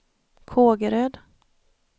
Kågeröd